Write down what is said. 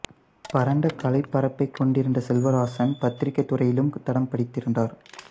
பரந்த கலைப் பரப்பை கொண்டிருந்த செல்வராசன் பத்திரிகைத் துறையிலும் தடம் பதித்திருந்தார்